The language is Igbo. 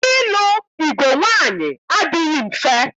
Ịlụ igwe nwaanyị adịghị mfe.